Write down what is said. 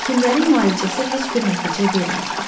Həkimlərin müalicəsi heç bir nəticə vermirdi.